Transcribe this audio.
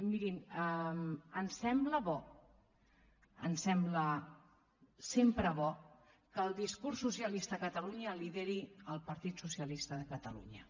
mirin ens sembla bo ens sembla sempre bo que el discurs socialista a catalunya el lideri el partit socialista de catalunya